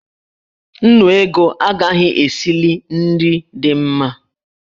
Nnu ego agaghị esili nri dị mma.